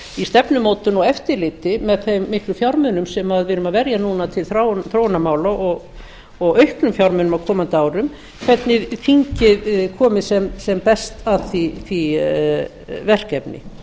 í stefnumótun og eftirliti með þeim miklu fjármunum sem við erum að verja núna til þróunarmála og auknum fjármunum á komandi árum hvernig þingið komi sem best að því verkefni